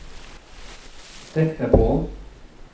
Deknepollen